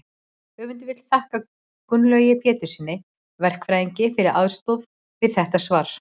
höfundur vill þakka gunnlaugi péturssyni verkfræðingi fyrir aðstoð við þetta svar